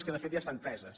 que de fet ja estan preses